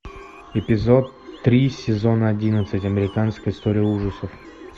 эпизод три сезон одиннадцать американская история ужасов